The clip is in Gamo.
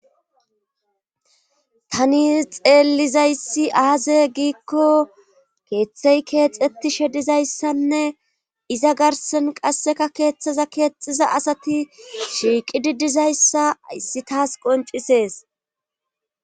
Tani xeellizayssi aaze giikko keeththey keexetti shedizayssanne izagarsen qasseka keeththaza keexxiza asati shiiqi didizayssa ayssi taas qoncisees.